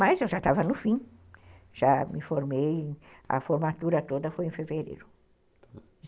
Mas eu já estava no fim, já me formei, a formatura toda foi em fevereiro